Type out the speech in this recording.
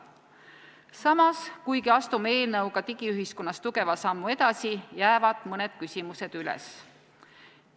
Samas, kuigi me astume eelnõu kohaselt digiühiskonnas tugeva sammu edasi, jäävad mõned küsimused üles.